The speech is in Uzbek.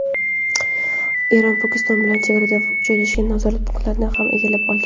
Eron va Pokiston bilan chegarada joylashgan nazorat punktlarini ham egallab olgan.